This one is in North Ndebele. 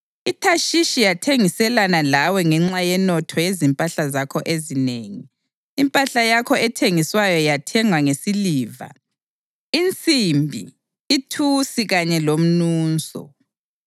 IThashishi yathengiselana lawe ngenxa yenotho yezimpahla zakho ezinengi; impahla yakho ethengiswayo bayithenga ngesiliva, insimbi, ithusi kanye lomnuso.